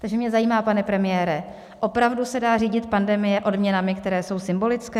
Takže mě zajímá, pane premiére, opravdu se dá řídit pandemie odměnami, které jsou symbolické?